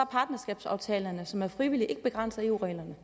partnerskabsaftalerne som er frivillige ikke begrænset af eu reglerne